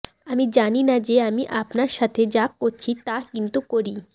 আমি জানি না যে আমি আপনার সাথে যা করছি তা কিন্তু করি